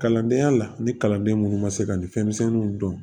Kalandenya la ni kalanden minnu ma se ka ni fɛn misɛnninw dɔn